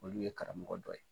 Olu ye karamɔgɔ dɔ ye.